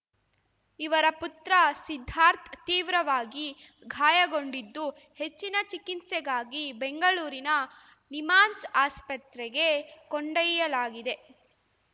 ಇವರ ಪುತ್ರ ಸಿದ್ದಾರ್ಥ ತೀವ್ರವಾಗಿ ಗಾಯಗೊಂಡಿದ್ದು ಹೆಚ್ಚಿನ ಚಿಕಿತ್ಸೆಗಾಗಿ ಬೆಂಗಳೂರಿನ ನಿಮ್ಹಾನ್ಸ್ ಆಸ್ಪತ್ರೆಗೆ ಕೊಂಡೊಯ್ಯಲಾಗಿದೆ